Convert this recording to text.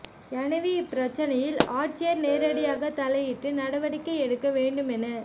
எனவே இப்பிரச்னையில் ஆட்சியா் நேரடியாக தலையிட்டு நடவடிக்கை எடுக்க வேண்டும் என